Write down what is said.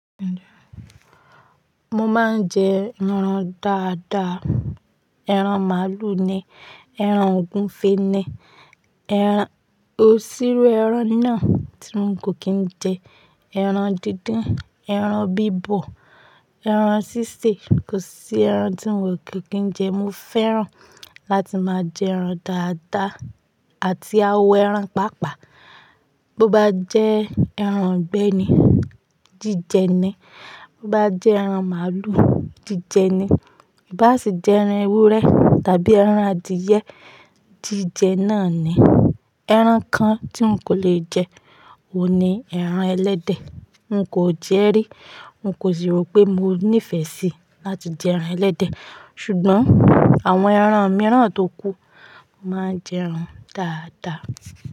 Mo máa ń jẹ ẹran dáadáa. Ẹran màálù ni, ẹran ògúnfe ni, kò sírú ẹran náà tí n kò kí n jẹ. Ẹran dídín, ẹran bíbọ̀, ẹran sísè, kò sí ẹran tí n kò kí n jẹ. Mo fẹ́ràn láti máa jẹ ẹran dáadáa àti awo ẹran pàápàá. Bo bá jẹ́ ẹran igbẹ ni, jíjẹ ni. Bo bá jẹ́ ẹran màálù, jíjẹ ni. I bá sì jẹ ẹran ewúrẹ́ tàbí ẹran adìyẹ, jíjẹ náà ni. Ẹran kan tí n kò lè jẹ òun ní ẹran ẹlẹ́dẹ̀. N kò jẹ rí, n kò sì rò pé mo nífẹ̀ẹ́ sí láti jẹ ẹran ẹlẹ́dẹ̀. Ṣùgbọ́n àwọn ẹran mìíràn tókú, mo máa ń jẹ ẹran dáadáa.